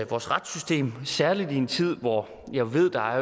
vores retssystem særlig i en tid hvor jeg ved der